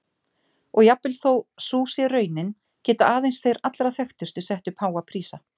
Og jafnvel þó sú sé raunin geta aðeins þeir allra þekktustu sett upp háa prísa.